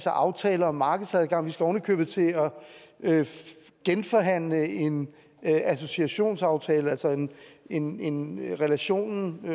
aftaler om markedsadgang vi skal ovenikøbet til at genforhandle en associationsaftale altså en en relation